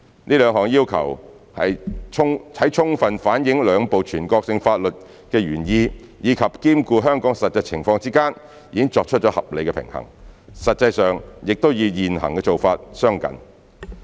這兩項要求，在充分反映兩部全國性法律的原意及兼顧香港的實際情況之間，已作出了合理平衡，實際上亦與現行做法相近。